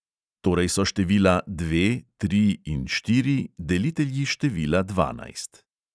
Torej so števila dve, tri in štiri delitelji števila dvanajst.